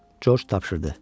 Corc tapşırdı.